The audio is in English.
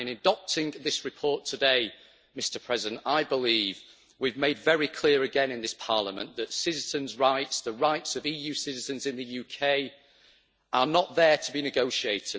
In adopting this report today, Mr President, I believe we have made very clear again in this Parliament that citizens' rights, the rights of EU citizens in the UK, are not there to be negotiated.